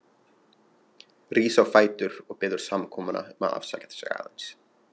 Rís á fætur og biður samkomuna að afsaka sig aðeins.